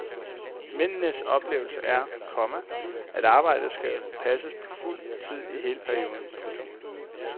Mændenes oplevelse er, komma at arbejdet skal passes på fuld tid i hele perioden. punktum